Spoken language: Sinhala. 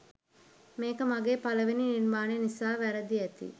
මේක මගේ පළවෙනි නිර්මාණය නිසා වැරදි ඇති.